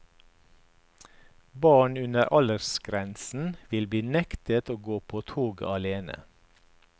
Barn under aldersgrensen vil bli nektet å gå på toget alene.